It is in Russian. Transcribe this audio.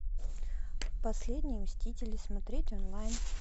последние мстители смотреть онлайн